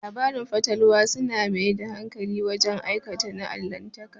Labarin fatalwa su na mai da hankali wajen aukuwa na Allahntaka